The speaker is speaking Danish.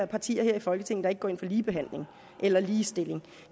partier her i folketinget der ikke går ind for ligebehandling eller ligestilling